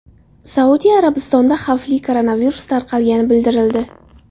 Saudiya Arabistonida xavfli koronavirus tarqalgani bildirildi.